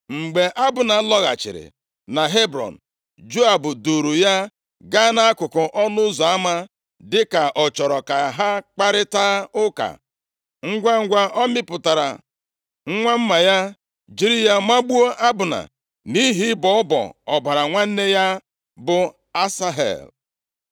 Mgbe Abna lọghachiri na Hebrọn, Joab duuru ya gaa nʼakụkụ ọnụ ụzọ ama, dịka ọ chọrọ ka ha kparịtaa ụka. Ngwangwa, ọ mịpụtara nwa mma ya, jiri ya magbuo Abna, nʼihi ịbọ ọbọ ọbara nwanne ya, bụ Asahel.